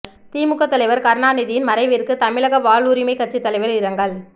திமுக தலைவர் கருணாநிதியின் மறைவிற்கு தமிழக வாழ்வுரிமைக் கட்சித் தலைவர் இரங்கல்